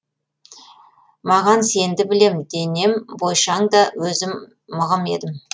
маған сенді білем денем бойшаң да өзім мығым едім